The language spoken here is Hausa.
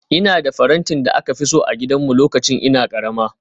Ina da farantin da aka fi so a gidanmu lokacin ina karama